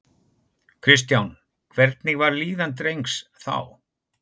Kristján: Hvernig var líðan drengs þá?